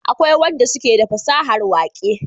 akwai wadan da suke da fasahar waƙe